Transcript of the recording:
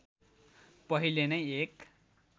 पहिले नै एक